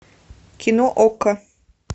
кино окко